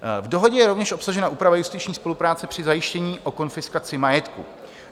V dohodě je rovněž obsažena úprava justiční spolupráce při zajištění a konfiskaci majetku.